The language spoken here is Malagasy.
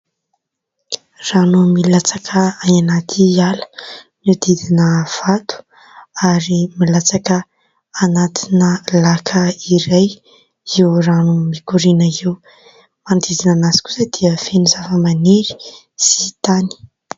Rano milatsaka any anaty ala mihodidina vato ary milatsaka anatina laka iray io rano mikoriana io, manodidina anazy kosa dia feno zavamaniry sy tany.